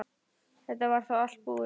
Þetta var þá allt búið.